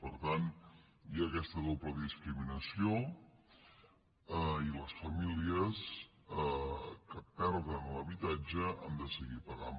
per tant hi ha aquesta doble discriminació i les famílies que perden l’habitatge han de seguir pagant